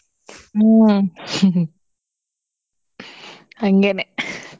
ಹ್ಮ್ ಹಂಗೇನೆ .